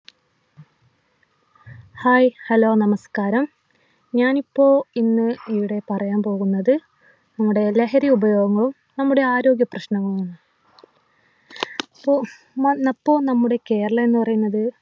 hi hello നമസ്കാരം ഞാനിപ്പോ ഇന്ന് ഇവിടെ പറയാൻ പോകുന്നത് നമ്മുടെ ലഹരി ഉപയോഗവും നമ്മുടെ ആരോഗ്യ പ്രശ്നങ്ങളുമാണ് പ്പൊ നമ്മ അപ്പൊ നമ്മുടെ കേരളംന്ന് പറയുന്നത്